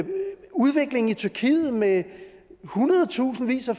udviklingen i tyrkiet med hundredtusindvis af